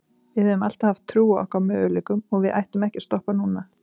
Við höfum alltaf haft trú á okkar möguleikum og við ætlum ekki að stoppa núna.